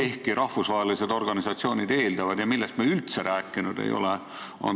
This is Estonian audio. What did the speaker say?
Ja rahvusvahelised organisatsioonid eeldavad, et oleks tegelikult lobitööreeglid ka valitsusele.